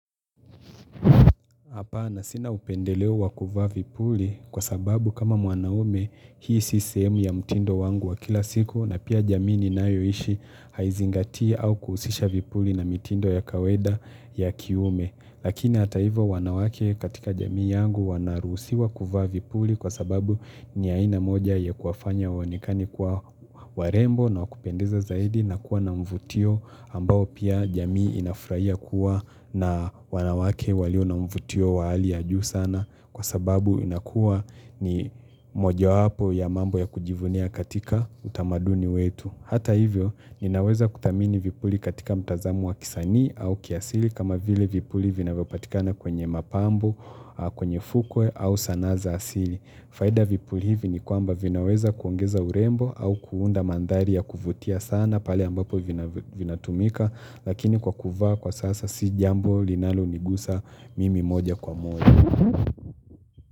Hapana sina upendeleo wakuvaa vipuli kwa sababu kama mwanaume hii si sehemu ya mtindo wangu wa kila siku na pia jamii ninayoishi haizingati au kuhusisha vipuli na mtindo ya kaweda ya kiume. Lakini hata hivyo wanawake katika jamii yangu wanaruhusiwa kuvaa vipuli kwa sababu ni aina moja ya kuwafanya wanonekane kwa warembo na wakupendeza zaidi na kuwa na mvutio ambao pia jamii inafuraia kuwa na wanawake walio na mvutio wa hali ya juu sana kwa sababu inakuwa ni moja wapo ya mambo ya kujivunia katika utamaduni wetu. Hata hivyo, ninaweza kuthamini vipuli katika mtazamo wa kisanii au kiasili kama vile vipuli vinyo patikana kwenye mapambo, kwenye fukwe au sanaa za asili. Faida vipuli hivi ni kwamba vinaweza kuongeza urembo au kuunda mandhari ya kuvutia sana pale ambapo vinatumika, lakini kwa kuvaa kwa sasa si jambo linalo nigusa mimi moja kwa moja.